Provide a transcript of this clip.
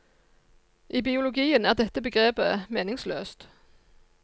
I biologien er dette begrepet meningsløst.